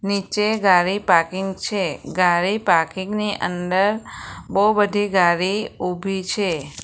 નીચે ગાડી પાર્કિંગ છે ગાડી પાર્કિંગ ની અંદર બહુ બધી ગાડી ઊભી છે.